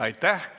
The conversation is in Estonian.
Aitäh!